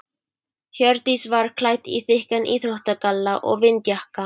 Hjördís var klædd í þykkan íþróttagalla og vindjakka.